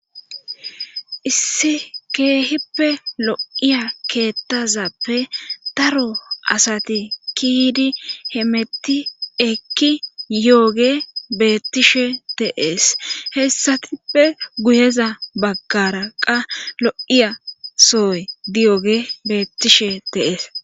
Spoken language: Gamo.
issi keehippe lo7iya keettazappe daro asati kiidi hemetti ekki yooge beettishe teees hessatippe guyeza baggaraqa lo7iya sooy diyooge beettishe de'ees es